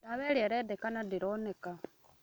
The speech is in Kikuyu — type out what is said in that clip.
Ndawa ĩrĩa ĩrendekana ndĩroneka